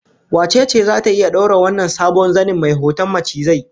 Wace ce zata iya daura wannan sabon zanin mai hoton macizai?